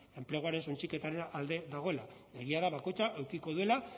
enpleguaren suntsiketaren alde dagoela egia da bakoitza edukiko duela